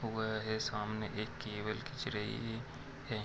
हुआ है सामने एक केबल खींच रही है।